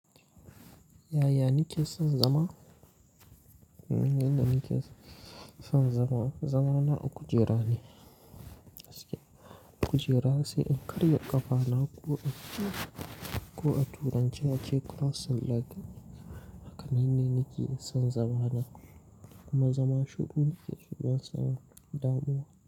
Yaya nike son zama? Yadda nike son zama, zamana kujera ne. Kujera sai in karya ƙafa na ko a turanci ake crossing leg, hakane ni nike son zama na kuma zama shiru nakeso banson damuwa.